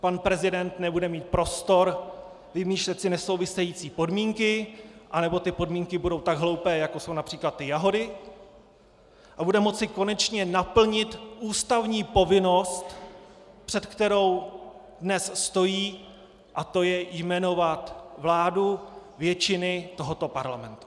Pan prezident nebude mít prostor vymýšlet si nesouvisející podmínky, anebo ty podmínky budou tak hloupé, jako jsou například ty jahody, a bude moci konečně naplnit ústavní povinnost, před kterou dnes stojí, a to je jmenovat vládu většiny tohoto parlamentu.